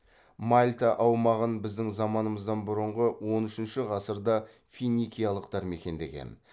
мальта аумағын біздің заманымыздан бұрынғы он үшінші ғасырда финикиялықтар мекендеген